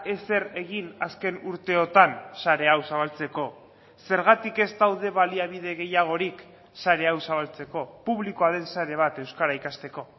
ezer egin azken urteotan sare hau zabaltzeko zergatik ez daude baliabide gehiagorik sare hau zabaltzeko publikoa den sare bat euskara ikasteko